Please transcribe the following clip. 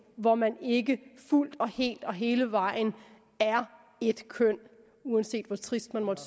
hvor man ikke fuldt og helt og hele vejen er ét køn uanset hvor trist man måtte